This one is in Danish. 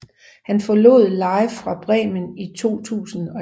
Han forlod Live Fra Bremen i 2011